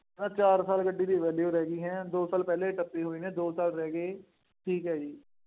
ਆਹ ਚਾਰ ਸਾਲ ਗੱਡੀ ਦੀ value ਰਹਿ ਗਈ ਹੈਂ, ਦੋ ਸਾਲ ਪਹਿਲੇ ਹੀ ਟੱਪੇ ਹੋਏ ਨੇ, ਦੋ ਸਾਲ ਰਹਿ ਗਏ। ਠੀਕ ਹੈ ਜੀ।